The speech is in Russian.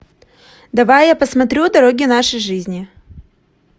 давай я посмотрю дороги нашей жизни